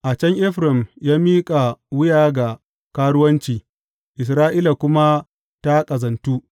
A can Efraim ya miƙa wuya ga karuwanci Isra’ila kuma ta ƙazantu.